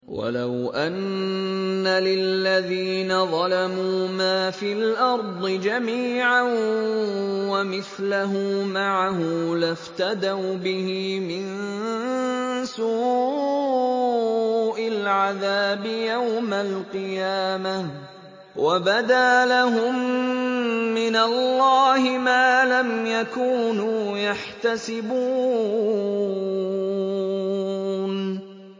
وَلَوْ أَنَّ لِلَّذِينَ ظَلَمُوا مَا فِي الْأَرْضِ جَمِيعًا وَمِثْلَهُ مَعَهُ لَافْتَدَوْا بِهِ مِن سُوءِ الْعَذَابِ يَوْمَ الْقِيَامَةِ ۚ وَبَدَا لَهُم مِّنَ اللَّهِ مَا لَمْ يَكُونُوا يَحْتَسِبُونَ